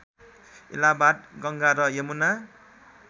इलाहाबाद गङ्गा र यमुना